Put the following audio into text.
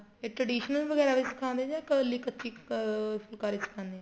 ਇਹ traditional ਵਗੇਰਾ ਸਿਖਾਦੇ ਏ ਜਾ ਇੱਕਲਾ ਕੱਚੀ ਅਹ ਫੁਲਕਾਰੀ ਸਿਖਾਣੇ ਏ